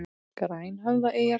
Grænhöfðaeyjar